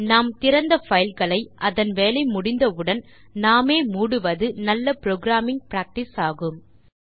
நாம் திறந்த பைல்களை அதன் வேலை முடிந்தவுடன் நாமே மூடுவது நல்ல புரோகிராமிங் பிராக்டிஸ் ஆகும்